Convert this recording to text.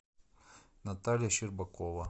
наталья щербакова